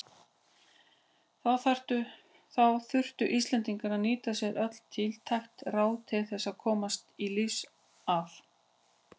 Þá þurftu Íslendingar að nýta sér öll tiltæk ráð til þess að komast lífs af.